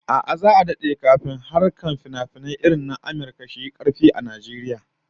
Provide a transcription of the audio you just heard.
A'a, za'a dade kafin harkar finafinai irin na Amurka su yi karfi a Najeriya